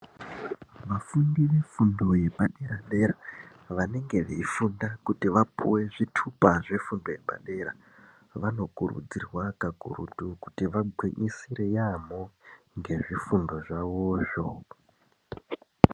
Vafundi vefundo yepadera dera vanenge veifunda kuti vapuwe zvithupa zvefundo yepadera vanokurudzirwa kakurutu kuti vagwinyisire yaamho ngezvifundo zvavozvo.